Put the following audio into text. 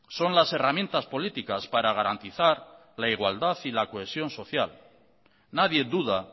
son las herramientas políticas para garantizar la igualdad y la cohesión social nadie duda